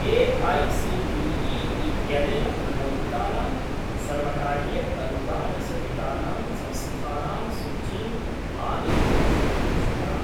AICTE. इत्यनेन अनुमोदितानां सर्वकारीय अनुदानसहितानां संस्थानां सूचीम् आनेतुं शक्नोषि वा?